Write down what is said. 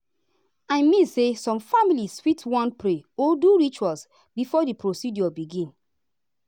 i mean say some families fit wan pray or do ritual before the procedure begin.